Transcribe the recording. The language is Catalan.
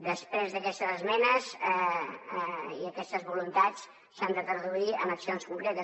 després aquestes esmenes i aquestes voluntats s’han de traduir en accions concretes